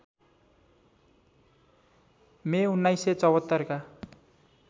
मे १९७४ का